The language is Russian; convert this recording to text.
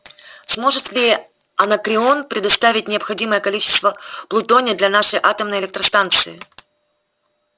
сможет ли анакреон предоставить необходимое количество плутония для нашей атомной электростанции